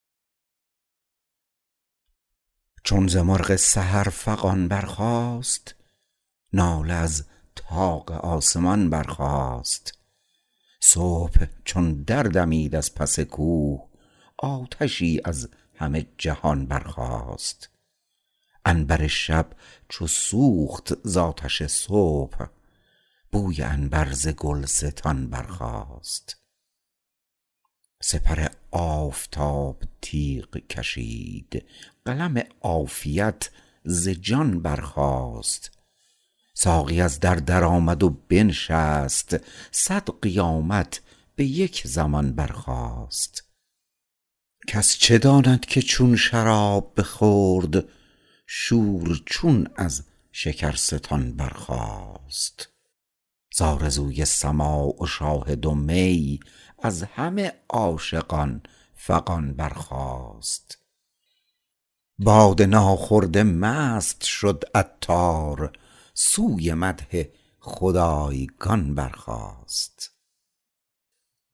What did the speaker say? چون ز مرغ سحر فغان برخاست ناله از طاق آسمان برخاست صبح چون دردمید از پس کوه آتشی از همه جهان برخاست عنبر شب چو سوخت زآتش صبح بوی عنبر ز گلستان برخاست سپر آفتاب تیغ کشید قلم عافیت ز جان برخاست ساقی از در درآمد و بنشست صد قیامت به یک زمان برخاست کس چه داند که چون شراب بخورد شور چون از شکرستان برخاست زآرزوی سماع و شاهد و می از همه عاشقان فغان برخاست باده ناخورده مست شد عطار سوی مدح خدایگان برخاست